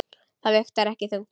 Það vigtar ekki þungt.